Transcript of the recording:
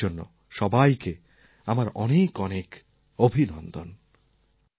নববর্ষের জন্য সবাইকে আমার অনেক অনেক অভিনন্দন